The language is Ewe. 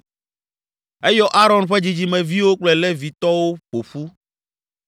Eyɔ Aron ƒe dzidzimeviwo kple Levitɔwo ƒo ƒu: